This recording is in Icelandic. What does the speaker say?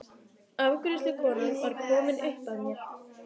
Afgreiðslukonan var komin upp að mér.